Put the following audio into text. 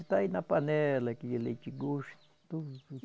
Está aí na panela, aquele leite gostoso.